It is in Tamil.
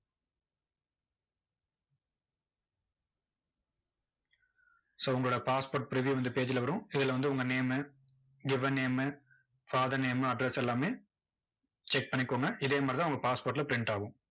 so உங்களோட passport preview இந்த page ல வரும். இதுல வந்து உங்க name given name father name address எல்லாமே, check பண்ணிக்கோங்க. இதே மாதிரி தான் உங்க passport ல print ஆகும்.